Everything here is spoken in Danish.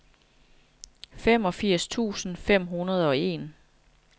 femogfirs tusind fem hundrede og en